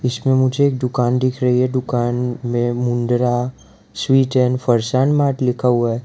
इसमें मुझे एक दुकान दिख रही है दुकान में Mundra sweet and farsan mart लिखा हुआ है।